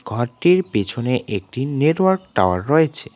ঘরটির পেছনে একটি নেটওয়ার্ক টাওয়ার রয়েছে।